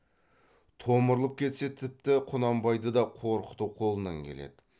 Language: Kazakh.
томырылып кетсе тіпті құнанбайды да қорқыту қолынан келеді